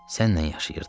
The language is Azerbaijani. Sənlə yaşayırdıq.